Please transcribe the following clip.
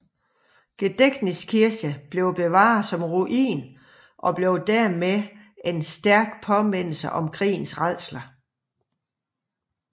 Gedächtniskirche blev bevaret som ruin og blev dermed en stærk påmindelse om krigens rædsler